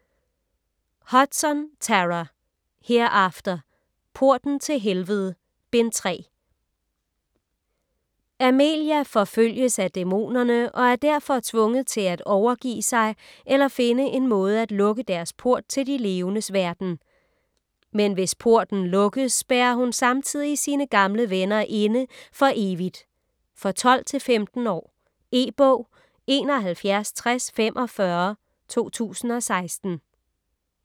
Hudson, Tara: Hereafter: Porten til helvede: Bind 3 Amelia forfølges af dæmonerne og er derfor tvunget til af overgive sig eller finde en måde af lukke deres port til de levendes verden. Men hvis posten lukkes spærrer hun samtidig sine gamle venner inde for evigt. For 12-15 år. E-bog 716045 2016.